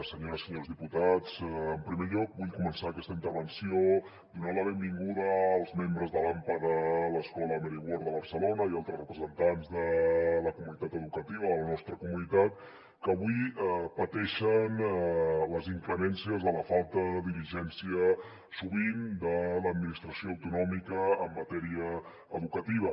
senyores i senyors diputats en primer lloc vull començar aquesta intervenció donant la benvinguda als membres de l’ampa de l’escola mary ward de barcelona i altres representants de la comunitat educativa de la nostra comunitat que avui pateixen les inclemències de la falta de diligència sovint de l’administració autonòmica en matèria educativa